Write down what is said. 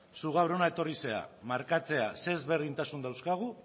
zu gaur hona etorri zara zein desberdintasun dauzkagun